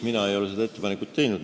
Mina ei ole seda ettepanekut teinud.